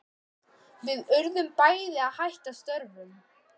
Við urðum bæði að hætta störfum.